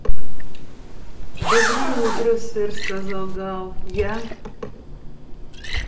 доброе утро сэр сказал гаал я